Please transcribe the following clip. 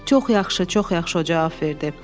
Çox yaxşı, çox yaxşı o cavab verdi.